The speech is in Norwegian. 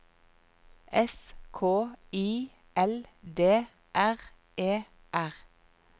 S K I L D R E R